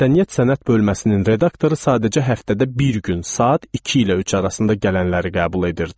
Mədəniyyət Sənət bölməsinin redaktoru sadəcə həftədə bir gün, saat 2 ilə 3 arasında gələnləri qəbul edirdi.